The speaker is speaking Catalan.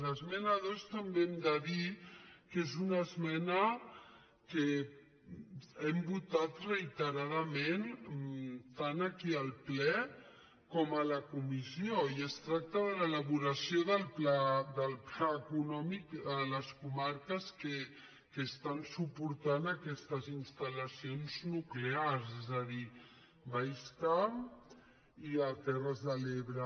de l’esmena dos també hem de dir que és una esmena que hem votat reiteradament tant aquí al ple com a la comissió i que es tracta de l’elaboració del pla eco·nòmic a les comarques que estan suportant aquestes instal·lacions nuclears és a dir baix camp i terres de l’ebre